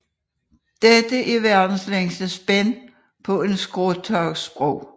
Dette er verdens længste spænd på en skråstagsbro